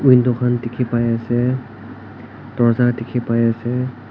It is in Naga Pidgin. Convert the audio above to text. Window khan dekhe pai ase dorza dekhe pai ase.